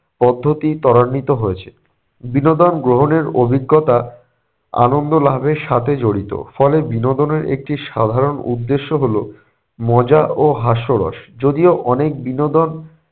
পদ্ধতি ত্বরান্বিত হয়েছে। বিনোদন গ্রহণের অভিজ্ঞতা আনন্দ লাভের সাথে জড়িত, ফলে বিনোদনের একটি সাধারণ উদ্দেশ্য হলো মজা ও হাস্যরস। যদিও অনেক বিনোদন